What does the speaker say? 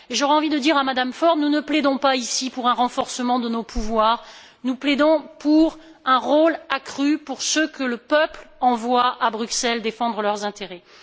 J'aurais envie de dire à Mme Ford Nous ne plaidons pas ici pour un renforcement de nos pouvoirs, nous plaidons pour un rôle accru pour ceux que le peuple envoie à Bruxelles défendre ses intérêts.